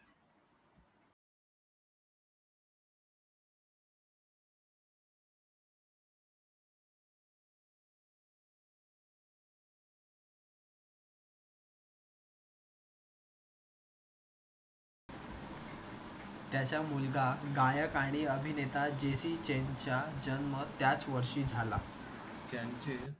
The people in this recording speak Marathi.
त्याचा मुलगा गायक आणि अभिनेता जे. सी. चेनचा जन्म त्याच वर्षी झाला.